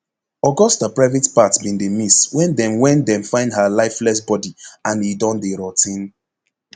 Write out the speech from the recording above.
augusta private part bin dey miss wen dem wen dem find her lifeless body and e don dey rot ten